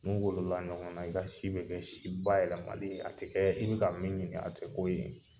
N'u wolola ɲɔgɔn na i ka si be kɛ si ba yɛlɛmalen ye, a te kɛ i bi ka min ɲini a te k'o ye.